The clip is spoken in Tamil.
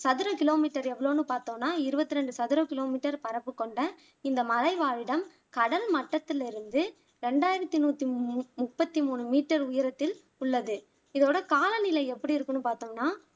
சதுர கிலோமீட்டர் எவ்வளோன்னு பாத்தோன்னா இருவத்துரெண்டு சதுர கிலோமீட்டர் பரப்பு கொண்ட இந்த மலை வாழிடம் கடல் மட்டத்துல இருந்து ரெண்டாயிரத்தி நூத்தி மு முப்பத்தி மூணு மீட்டர் உயரத்தில் உள்ளது இதோட காலநிலை எப்படி இருக்குன்னு பாத்தோம்னா